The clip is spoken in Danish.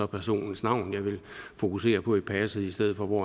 personens navn jeg ville fokusere på i passet i stedet for hvor